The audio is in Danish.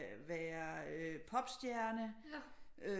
Være popstjerne øh